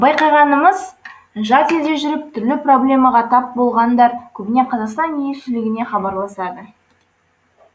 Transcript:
байқағанымыз жат елде жүріп түрлі проблемаға тап болғандар көбіне қазақстан елшілігіне хабарласады